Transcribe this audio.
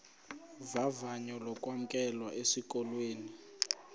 vavanyo lokwamkelwa esikolweni